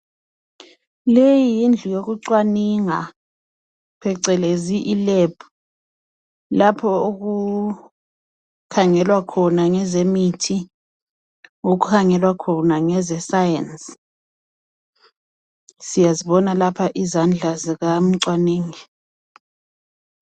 Leyiyindlu yokucwaninga phecelezi ilab, lapho okukhangelwa khona ngezemithi okhangelwa khona ngezescience, siyazibona lapha izandla zikamcwaningi.